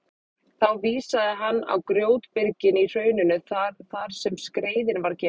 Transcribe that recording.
Þá vísaði hann á grjótbyrgin í hrauninu þar sem skreiðin var geymd.